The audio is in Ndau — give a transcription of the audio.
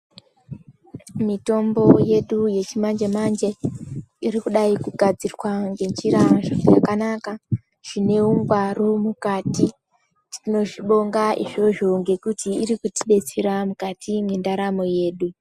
Mitombo yedu yechi manje manje iri kudai kugadzirwa nge njira zvakanaka zvine ungwaru mukati tinozvi bonga izvozvo ngekuti iri kuti detsera mukati mwe ndaramo yedu.